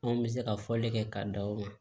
Anw bɛ se ka fɔli kɛ k'a da o kan